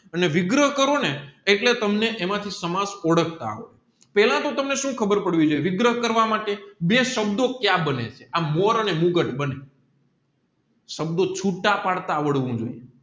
અને વિગ્રહ કરો ને એના માંથી સમાજ ઓઢાક તા આવડે પેલા તોહ તમને વિગ્રહ કરવા માટે બે શબ્દો ક્યાં બને છે આ બોર અને સાંભળો છુટા પાડતા આવડ વું જોઈએ